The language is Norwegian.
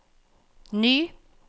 ny